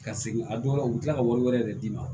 Ka segin a dɔw la u bi kila ka wari wɛrɛ de d'i ma